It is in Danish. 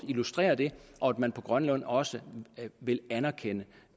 illustrere det og at man på grønland også vil anerkende